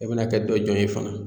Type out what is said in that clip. E bɛna kɛ dɔ jɔn ye fana.